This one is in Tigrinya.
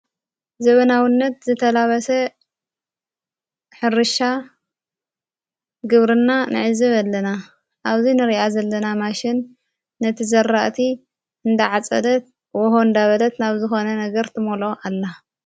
ዘበናውነት ዘተላበሰ ሕርሻ ግብርና ንዕዚ በለና ኣብዙይ ንርኣ ዘለና ማሽን ነቲ ዘራእቲ እንዳዓጸደት ሆሆ አንዳ በለት ናብ ዝኾነ ነገርትመሎ ኣላ::